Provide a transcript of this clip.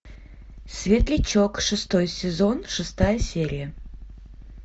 светлячок шестой сезон шестая серия